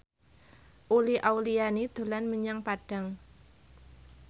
Uli Auliani dolan menyang Padang